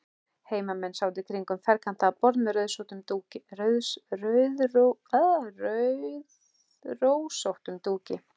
Heimamenn sátu kringum ferkantað borð með rauðrósóttum dúki.